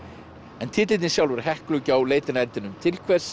en titillinn sjálfur Heklugjá leitin að eldinum til hvers